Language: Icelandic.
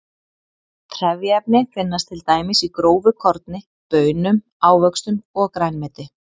Trefjaefni finnast til dæmis í grófu korni, baunum, ávöxtum og grænmeti.